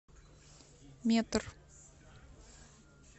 метр